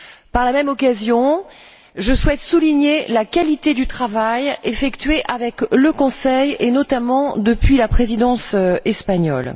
Par la même occasion, je souhaite souligner la qualité du travail effectué avec le Conseil, et notamment depuis la présidence espagnole.